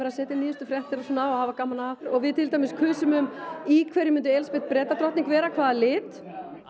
að setja inn nýjustu fréttir og svona og hafa gaman að og við til dæmis kusum í hverju myndi Elísabet vera hvaða lit